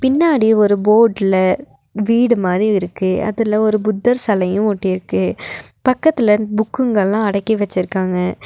பின்னாடி ஒரு போர்ட்ல வீடு மாரி இருக்கு அதுல ஒரு புத்தர் செலையு ஒட்டிர்க்கு பக்கத்துல புக்குங்கெல்லா அடக்கி வெச்சிருக்காங்க.